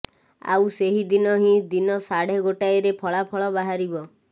ଆଉ ସେହିଦିନ ହିଁ ଦିନ ସାଢେ ଗୋଟାଏରେ ଫଳାଫଳ ବାହାରିବ